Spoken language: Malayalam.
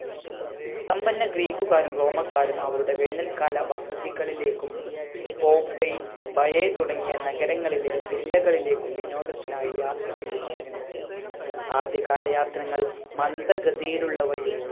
സമ്പന്ന ഗ്രീക്ക്ക്കാരും റോമക്കാരും അവരുടെ വേനൽ കാല വസതികളിലേക്കും പോപ്പേയ് ബയെ തുടങ്ങിയ നഗരങ്ങളിലെ villa കളിലേക്കും വിനോദത്തിനായി യാത്ര ചെയ്യുമായിരുന്നു ആദ്യ കാല യാത്രങ്ങൾ മന്ദഗതിയിലുള്ളവയും